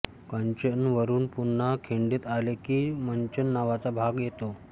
कांचनवरुन पुन्हा खिंडीत आले की मंचन नावाचा भाग येतो